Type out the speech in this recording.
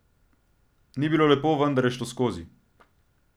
Ni bilo lepo, vendar je šlo skozi.